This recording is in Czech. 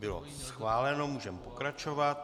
Bylo schváleno, můžeme pokračovat.